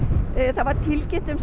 það var tilkynnt um